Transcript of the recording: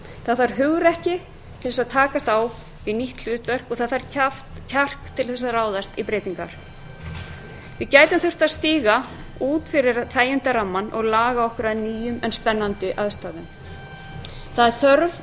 það þarf hugrekki til að takast á við nýtt hlutverk og það þarf kjark til að ráðast í breytingar við gætum þurft að stíga út fyrir þægindarammann og laga okkur að nýjum en spennandi aðstæðum það er þörf